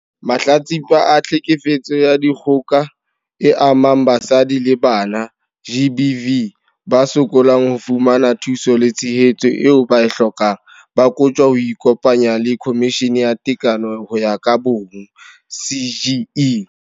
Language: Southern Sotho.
Mahlatsipa a Tlhekefetso ya Dikgoka e Amang Basadi le Bana, GBV, ba sokolang ho fumana thuso le tshehetso eo ba e hlokang, ba kotjwa ho ikopanya le Khomishene ya Tekano ho ya ka Bong, CGE.